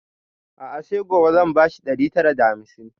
A'a sai gobe zan ba shi ɗari tara da hamsin